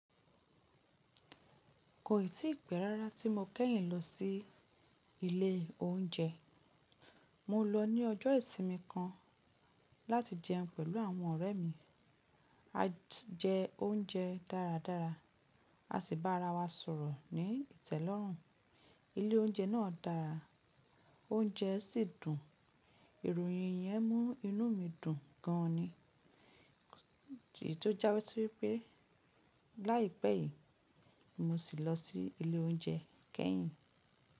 Kò ì tí pẹ́ rárá tí mo kẹ́yìn lọ sí ilé oúnjẹ. Mo lọ ní ọjọ́ ìsinmi kan láti jẹun pẹ̀lú àwọn ọ̀rẹ́ mi. A jẹ oúnjẹ dáradára, a sì bá ara wa sọ̀rọ̀ ní ìtẹ́lọ́rùn. Ilé oúnjẹ náà dára, oúnjẹ sì dùn. Ìròyìn yẹn mú inú mi dùn gan ni, tì tó jásí wípé láìpẹ́ yìí, mo sì lọ sí ilé oúnjẹ kẹ́yìn.